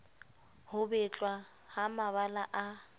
ho betlwa ha mabala a